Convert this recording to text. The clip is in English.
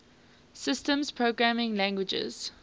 systems programming languages